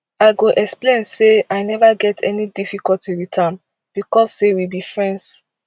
i go explain say i neva get any difficulty wit am becos say we be friends